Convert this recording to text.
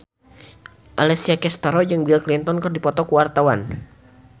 Alessia Cestaro jeung Bill Clinton keur dipoto ku wartawan